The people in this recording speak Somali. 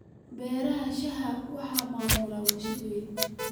Beeraha shaaha waxaa maamula warshado waaweyn.